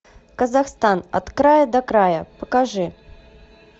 казахстан от края до края покажи